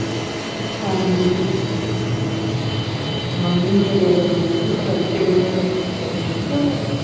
ਆਉਣ ਡਈ ਆ ਮੰਮੀ ਮੇਰੇ ਵੱਲ ਵੇਦੀ ਆ ਪਤਾ ਨਹੀਂ ਕੀਹਦੇ ਨਾਲ ਲੱਗੀ ਹੈ ਕਦੇ ਦੀ